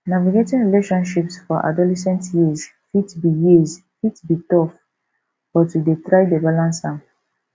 navigating relationships for adolescent years fit be years fit be tough but we dey try balance am